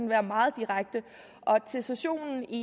være meget direkte og til sessionen i